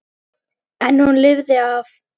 En hún lifði af.